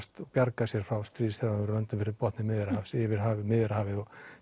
bjarga sér frá stríðshrjáðum löndum fyrir botni Miðjarðarhafs yfir Miðjarðarhafið og